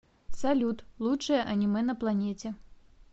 салют лучшее аниме на планете